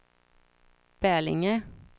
Bälinge